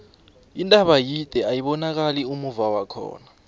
intaba yide ayibonakani ummuva wakhona